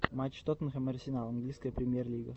матч тоттенхэм арсенал английская премьер лига